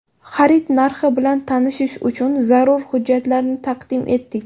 Xarid narxi bilan tanishish uchun zarur hujjatlarni taqdim etdik.